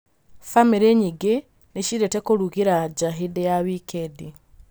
Bamĩrĩ nyingĩ nĩ ciendete kũrugĩra nja hĩndĩ ya wikendi.